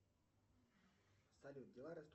джой поставь на повтор